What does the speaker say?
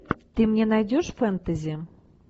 ты мне найдешь фэнтези